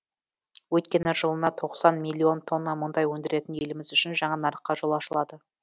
өйткені жылына тоқсан миллион тонна мұнай өндіретін еліміз үшін жаңа нарыққа жол ашылады